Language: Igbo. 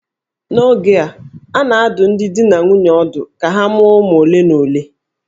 N'oge a, a na-adụ ọdụ ndị di na nwunye ọdụ ka ha mụọ ụmụ ole na ole